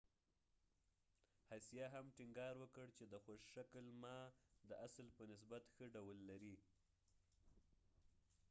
هسیه هم ټينګار وکړ چې د خوش شکل ما د اصل په نسبت ښه ډول لري